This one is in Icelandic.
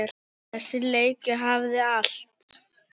Þessi leikur hafði allt.